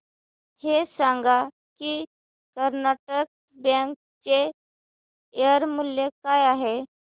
हे सांगा की कर्नाटक बँक चे शेअर मूल्य काय आहे